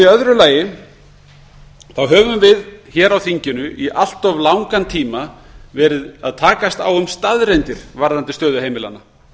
í öðru lagi höfum við hér á þinginu í allt of langan tíma verið að takast á um staðreyndir varðandi stöðu heimilanna